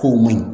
K'o ma ɲi